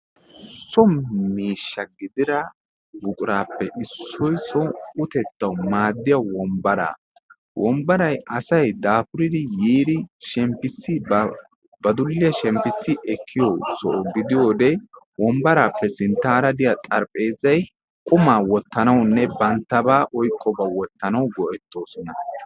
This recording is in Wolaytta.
So miishsha gidida buquraappe issoy utettawu maaddiya so wombbaraa. Wombbaray asay daapuriri yiidi shemppossi ba dulliya shemppissi ekkiyo Soho gidiyode wombbaraappe sinttaara diya xarapheezzay qumaa wottanawunne banttabaa oyiqqobaa wottanawu go'ettoosona.